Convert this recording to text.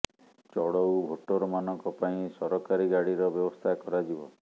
ଚଡଊ voter ମାନଙ୍କ ପାଇଁ ସରକାରୀ ଗାଡ଼ିର ବ୍ୟବସ୍ଥା କରାଯିବ